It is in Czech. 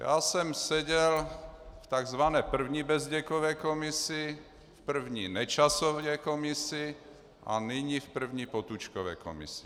Já jsem seděl v tzv. první Bezděkově komisi, v první Nečasově komisi, a nyní v první Potůčkově komisi.